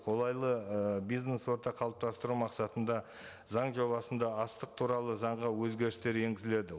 қолайлы і бизнес орта қалыптасыптыру мақсатында заң жобасында астық туралы заңға өзгерістер енгізіледі